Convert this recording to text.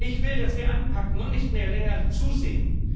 Ich will, dass wir anpacken und nicht mehr länger zusehen.